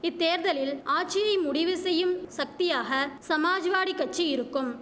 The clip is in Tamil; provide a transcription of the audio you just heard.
இத்தேர்தலில் ஆட்சியை முடிவுசெய்யும் சக்தியாக சமாஜ்வாடி கட்சி இருக்கும்